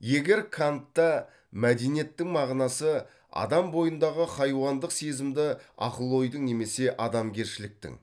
егер кантта мәдениеттің мағынасы адам бойындағы хайуандық сезімді ақыл ойдың немесе адамгершіліктің